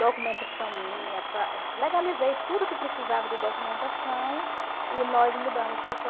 documentação minha, legalizei tudo que precisava de documentação e nós mudamos para